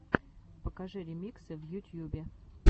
покажи ремиксы в ютьюбе